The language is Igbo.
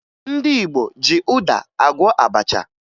Ndị Igbo ji ụda agwọ abacha